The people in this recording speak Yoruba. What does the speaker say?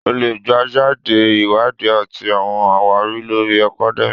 O le gbejade Iwadi ati awọn awari lori academia.